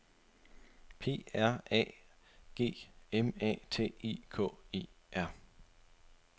P R A G M A T I K E R